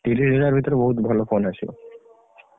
ତିରିଶିହଜାର ଭିତରେ ବହୁତ୍ ଭଲ phone ଆସିବ।